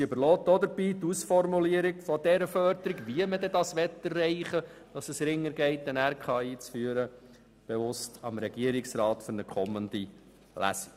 Sie überlässt dabei die Ausformulierung der Förderung, wie man das erreichen will, dass es einfacher geht, eine Regionalkonferenz (RK) einzuführen, bewusst dem Regierungsrat für eine kommende Lesung.